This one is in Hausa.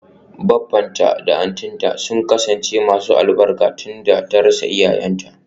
Baffanta da auntynta sun kasance masu albarka tunda ta rasa iyayenta.